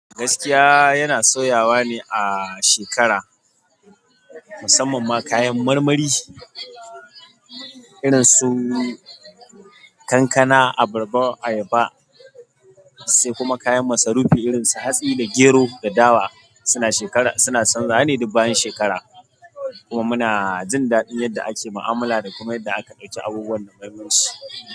Gaskiya yana sauyawa ne a shekara musamman ma kayan marmari irinsu kankana, abarba, ayaba sai kuma kayan masarufi irin su hatsi da gero da dawa. Suna shekara, suna chanzawa ne duk bayan shekaru. Kuma muna jin daɗi yanda ake mu'amala kuma yanda aka ɗauki abubuwan da muhimmanci.